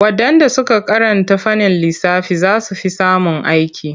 Waɗanda suka karanta fannin lissafi za su fi samun aiki./